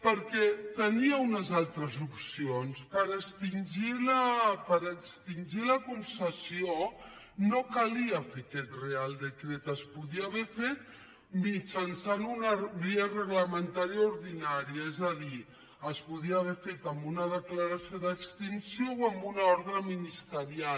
perquè tenia unes altres opcions per extingir la concessió no calia fer aquest reial decret es podia haver fet mitjançant una via reglamentària ordinària és a dir es podia haver fet amb una declaració d’extinció o amb una ordre ministerial